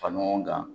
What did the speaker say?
Fara ɲɔgɔn kan